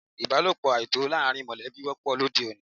Ìbálòpọ̀ àìtọ́ láàrín mọ̀lẹ́bí wọ́pọ̀ lóde òní.